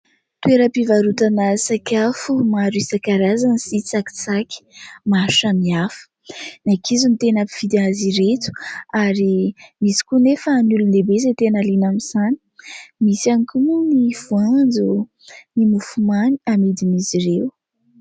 Toeram-pivarotana sakafo maro isan-karazany sy tsakitsaky maro samihafa, ny ankizy no tena mpividy azy ireto ary misy koa anefa ny olon-dehibe izay tena liana amin'izany, misy ihany koa moa ny voanjo, ny mofomamy amidin'izy ireo.